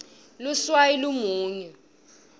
luswayi lumunyu